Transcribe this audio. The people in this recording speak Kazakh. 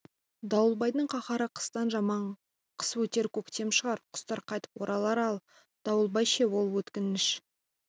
дауылбайдың қаһары қыстан жаман қыс өтер көктем шығар құстар қайтып оралар ал дауылбай ше ол өткінші